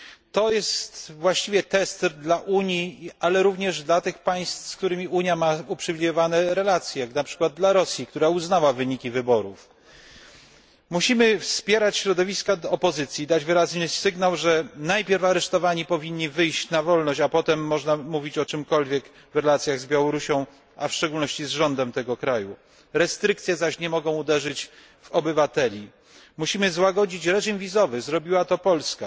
To jest właściwie test dla Unii, ale również dla tych państw, z którymi Unia ma uprzywilejowane relacje, jak na przykład dla Rosji, która uznała wyniki wyborów. Musimy wspierać środowiska opozycji i dać wyraźny sygnał, że najpierw aresztowani powinni wyjść na wolność, a potem można mówić o czymkolwiek w relacjach z Białorusią, a w szczególności z rządem tego kraju. Restrykcje zaś nie mogą uderzyć w obywateli. Musimy złagodzić reżim wizowy zrobiła to Polska.